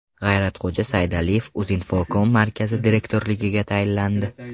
G‘ayratxo‘ja Saydaliyev Uzinfocom markazi direktorligiga tayinlandi.